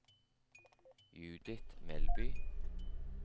Judith Melby